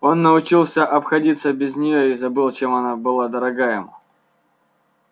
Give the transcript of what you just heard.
он научился обходиться без неё и забыл чем она была дорога ему